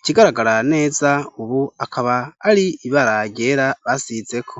ikigaragara neza ubu akaba ari ibara ryera basizeko.